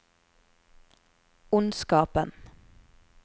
ondskapen